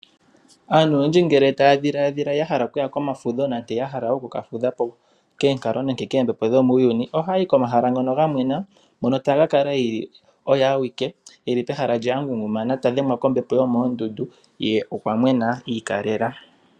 Aantu oyendji ngele taya dhiladhila okuya komafudho nenge ya hala okukafudha po koonkalo nenge koombepo dhomuuyuni ohaya yi komahala ngono ga mwena hono taka kala e li oye awike e li pehala lye a ngungumana ta dhengwa kombepo yomoondundu ye okwa mwena iikalela.